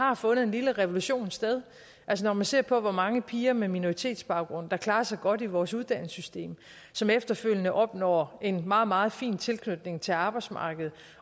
har fundet en lille revolution sted når man ser på hvor mange piger med minoritetsbaggrund der klarer sig godt i vores uddannelsessystem som efterfølgende opnår en meget meget fin tilknytning til arbejdsmarkedet